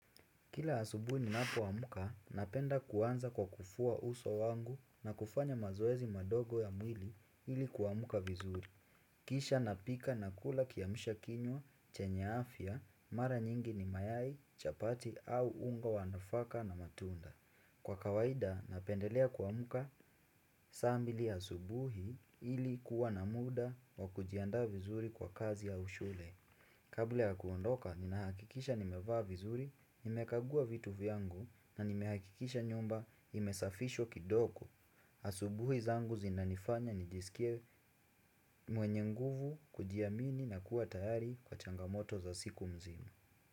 Kila asubuhi ni napo amuka, napenda kuanza kwa kufua uso wangu na kufanya mazoezi madogo ya mwili ili kuamka vizuri. Kisha napika na kula kiamsha kinywa, chenye afya, mara nyingi ni mayai, chapati au ungo wanafaka na matunda. Kwa kawaida, napendelea kuamuka saa mbili asubuhi ili kuwa na muda wa kujiandaa vizuri kwa kazi ya ushule. Kabla ya kuondoka, ninahakikisha nimevaa vizuri, nimekagua vitu vyangu na nimehakikisha nyumba imesafishwa kidogo Asubuhi zangu zinanifanya nijisikie mwenye nguvu kujiamini na kuwa tayari kwa changamoto za siku mzima.